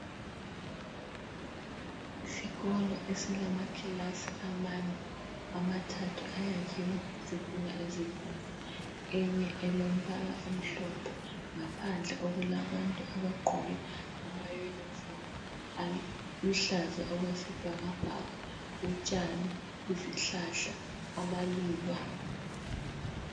Isikolo esilamakilasi amane, amathathu ayakhiwe ngezitina ezibomvu, enye elombala omhlophe. Ngaphandle okulabantu abagqoke amayunifomu aluhlaza okwesibhakabhaka. Utshani, izihlahla, amaluba.